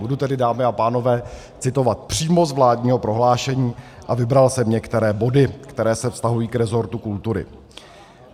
Budu tedy, dámy a pánové, citovat přímo z vládního prohlášení a vybral jsem některé body, které se vztahují k resortu kultury.